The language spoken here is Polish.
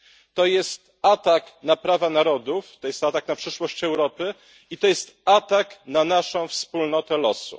to jest atak na prawa narodów, to jest atak na przyszłość Europy i to jest atak na naszą wspólnotę losu.